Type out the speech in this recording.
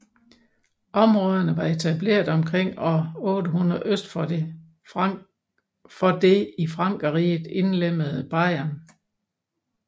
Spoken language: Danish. Områderne var etableret omkring år 800 øst for det i Frankerriget indlemmede Bayern